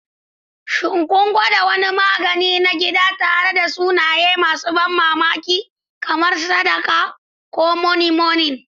Shin kun gwada wani magani na gida tare da sunaye masu ban mamaki, kamar Sakada ko Moninmonin?